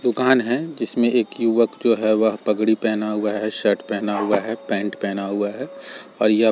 दूकान है जिसमें एक युवक जो है वह पगड़ी पहना हुआ है शर्ट पहना हुआ है पेंट पहना हुआ है और यह--